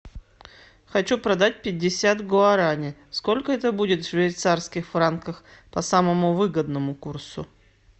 хочу продать пятьдесят гуарани сколько это будет в швейцарских франках по самому выгодному курсу